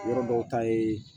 Yɔrɔ dɔw ta ye